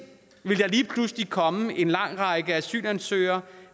ville der lige pludselig komme en lang række asylansøgere